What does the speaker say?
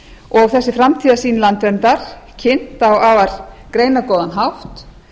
og þessi framtíðarsýn landverndar kynnt á afar greinargóðan hátt